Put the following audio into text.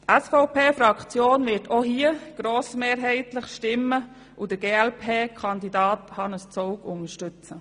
Die SVP-Fraktion wird auch hier grossmehrheitlich stimmen und den glp-Kandidaten Hannes Zaugg unterstützen.